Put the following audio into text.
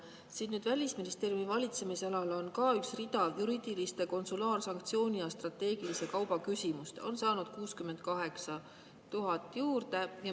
Siin Välisministeeriumi valitsemisalas on ka üks rida: juriidiliste, konsulaar‑, sanktsiooni‑ ja strateegilise kauba küsimuste all on saadud 68 000 juurde.